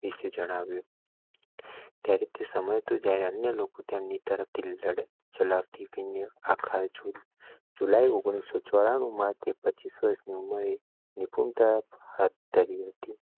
વિશે જણાવ્યું. તે સમય ના અન્ય લોકો ત્યાં ની તરફ થી લડત ચલાવ આખા જૂન જુલાઈ ઓગણીસો ચોરાણું માં તે પચીસ વર્ષ નિપુણતા હાથ ધરી હતી.